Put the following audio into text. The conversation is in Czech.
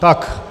Takže...